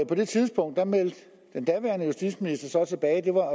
det tidspunkt meldte den daværende justitsminister tilbage